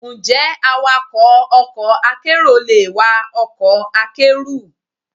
Ǹjẹ́ awakọ̀ ọkọ̀ akérò le wa ọkọ̀ akẹ́rù?